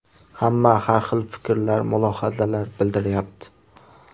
Hamma har hil fikrlar, mulohazalar bildiryapti.